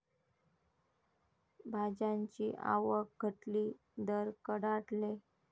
भाज्यांची आवक घटली, दर कडाडले